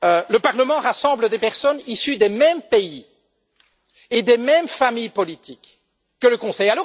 Le Parlement rassemble des personnes issues des mêmes pays et des mêmes familles politiques que le Conseil.